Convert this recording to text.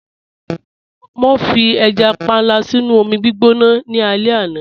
Mọ fi ẹja pànla sínu omi gbọná ní alẹ̀ àná.